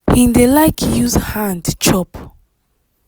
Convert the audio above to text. him dey like use hand chop.